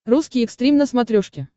русский экстрим на смотрешке